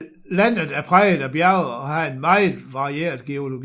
Landet er præget af bjerge og har en meget varieret geologi